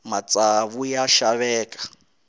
matsavu ya xaveka